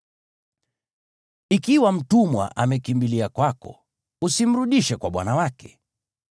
Ikiwa mtumwa amekimbilia kwako, usimrudishe kwa bwana wake.